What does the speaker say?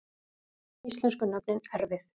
Íslensku nöfnin erfið